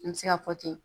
An bɛ se ka fɔ ten